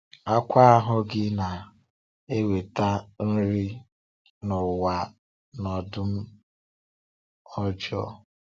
Àkwá ahụ́ gị na-enweta nri nà ụwa na ọdụm ọjọọ.